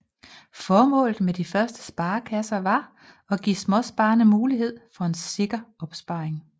Formålet med de første sparekasser var at give småsparerne mulighed for en sikker opsparing